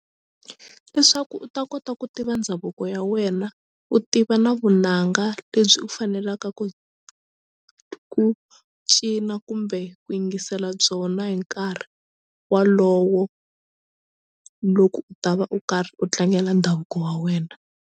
I swa ku u ta kota ku tiva ndhavuko ya wena u tiva na vunanga lebyi u fanelaka ku ku cina kumbe ku yingisela byona hi nkarhi walowo loko u ta va u karhi u tlangela ndhavuko wa wena.